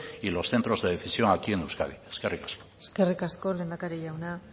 y los centros de decisión aquí en euskadi eskerrik asko eskerrik asko lehendakari jauna